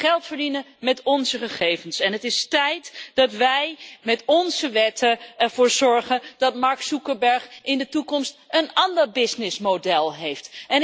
Het is geld verdienen met onze gegevens en het is tijd dat wij met onze wetten ervoor zorgen dat Mark Zuckerberg in de toekomst een ander businessmodel heeft.